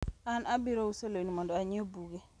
an abiro uso lewni mondo anyiew buge